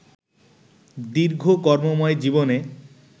দীর্ঘ কর্মময় জীবনে